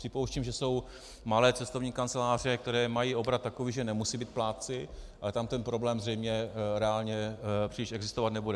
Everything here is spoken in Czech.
Připouštím, že jsou malé cestovní kanceláře, které mají obrat takový, že nemusí být plátci, ale tam ten problém zřejmě reálně příliš existovat nebude.